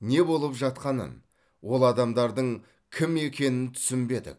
не болып жатқанын ол адамдардың кім екенін түсінбедік